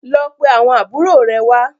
Lọ pé àwọn àbúrò rẹ wá.